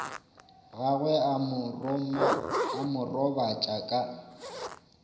gagwe a mo robatša ka